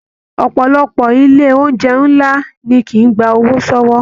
Ọpọlọpọ ilé oúnjẹ nlá ní kìí gbà owó sọwọ.